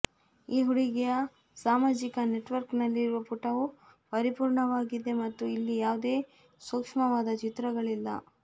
ಈ ಹುಡುಗಿಯ ಸಾಮಾಜಿಕ ನೆಟ್ವರ್ಕ್ನಲ್ಲಿರುವ ಪುಟವು ಪರಿಪೂರ್ಣವಾಗಿದೆ ಮತ್ತು ಇಲ್ಲಿ ಯಾವುದೇ ಸೂಕ್ಷ್ಮವಾದ ಚಿತ್ರಗಳಿಲ್ಲ